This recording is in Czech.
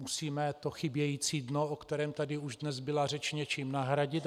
Musíme to chybějící dno, o kterém tady už dnes byla řeč, něčím nahradit.